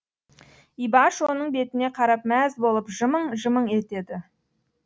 ибаш оның бетіне қарап мәз болып жымың жымың етеді